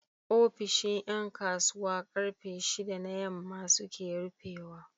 ofishin Yan kasuwa karfe shida na yamma suke rufe wa